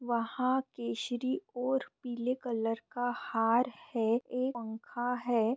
वहां केशरी और पीले कलर का हार है एक पंखा है।